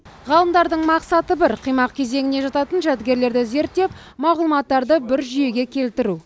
ғалымдардың мақсаты бір қимақ кезеңіне жататын жәдігерлерді зерттеп мағлұматтарды бір жүйеге келтіру